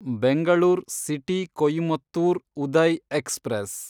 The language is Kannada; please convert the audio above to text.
Bengaluru city Coimbatore Uday express